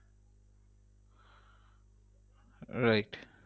right